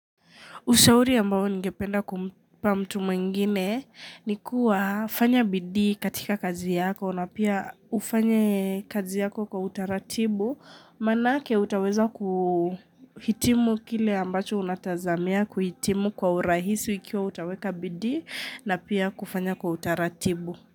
Ushauri ambao ningependa kumpa mtu mwingine ni kuwa fanya bidii katika kazi yako na pia ufanye kazi yako kwa utaratibu. Manake utaweza kuhitimu kile ambacho unatazamia kuhitimu kwa urahisu ikiwa utaweka bidii na pia kufanya kwa utaratibu.